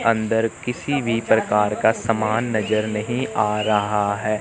अंदर किसी भी प्रकार का सामान नजर नहीं आ रहा है।